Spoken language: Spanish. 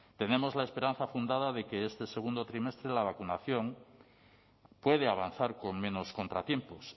tenemos la esperanza fundada de que este segundo trimestre la vacunación puede avanzar con menos contratiempos